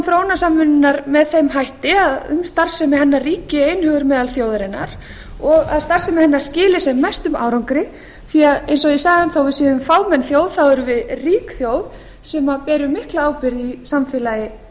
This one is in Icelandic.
að endurskoðun þróunarsamvinnunnar með þeim hætti að um starfsemi hennar ríki einhugur meðal þjóðarinnar og að starfsemi hennar skili sem mestum árangri því að eins og ég sagði þó að við séum fámenn þjóð þá árum við rík þjóð sem ber mikla ábyrgð í samfélagi